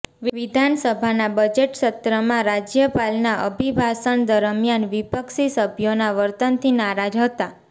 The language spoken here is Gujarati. વિધાનસભાના બજેટ સત્રમાં રાજ્યપાલના અભિભાષણ દરમિયાન વિપક્ષી સભ્યોના વર્તનથી નારાજ હતા